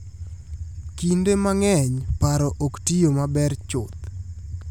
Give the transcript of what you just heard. Kinde mang'eny paro ok tiyo maber chuth.